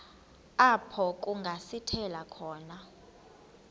apho kungasithela khona